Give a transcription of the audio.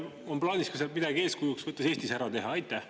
On teil plaanis sealt midagi eeskujuks võttes ka Eestis ära teha?